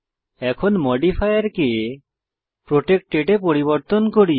এখন মডিফায়ারকে প্রটেক্টেড এ পরিবর্তন করি